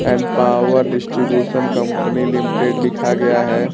Empower distribution company limited लिखा गया है।